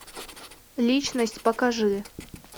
личность покажи